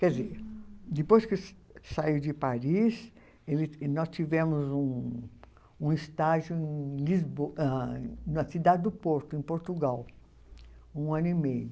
Quer dizer, depois que saiu de Paris, nós tivemos um estágio na cidade do Porto, em Portugal, um ano e meio.